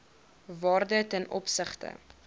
waarde ten opsigte